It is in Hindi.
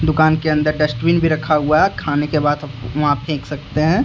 दुकान के अंदर डस्टबिन भी रखा हुआ है और खाने के बाद हम वहां फेंक सकते हैं।